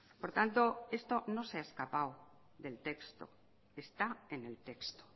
por tanto esto no se ha escapado del texto está en el texto